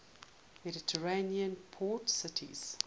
mediterranean port cities